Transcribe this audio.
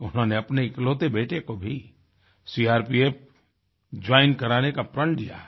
उन्होंने अपने इकलौते बेटे को भी सीआरपीएफ जोइन कराने का प्रण लिया है